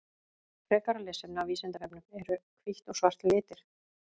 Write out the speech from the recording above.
Frekara lesefni af Vísindavefnum: Eru hvítt og svart litir?